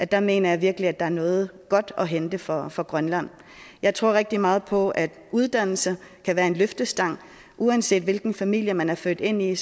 der mener jeg virkelig at der er noget godt at hente for for grønland jeg tror rigtig meget på at uddannelse kan være en løftestang uanset hvilken familie man er født ind i